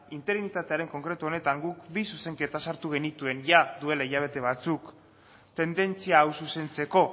interinitatearen konkretu honetan guk bi zuzenketa sartu genituen jada duela hilabete batzuk tendentzia hau zuzentzeko